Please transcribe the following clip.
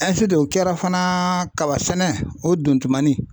o kɛra fana kaba sɛnɛ o dontumanin.